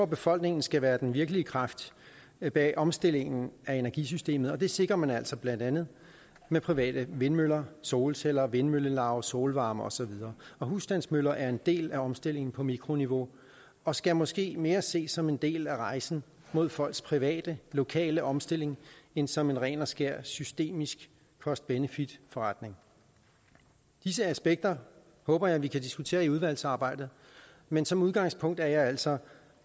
befolkningen skal være den virkelige kraft bag omstillingen af energisystemet og det sikrer man altså blandt andet med private vindmøller solceller vindmøllelaug solvarme og så videre husstandsmøller er en del af omstillingen på mikroniveau og skal måske mere ses som en del af rejsen mod folks private lokale omstilling end som en ren og skær systemisk cost benefit forretning disse aspekter håber jeg vi kan diskutere i udvalgsarbejdet men som udgangspunkt er jeg altså